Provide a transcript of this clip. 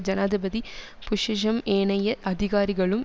ஜனாதிபதி புஷ்ஷிஷூம் ஏனைய அதிகாரிகளும்